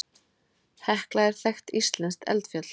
Hekla er þekkt íslenskt eldfjall.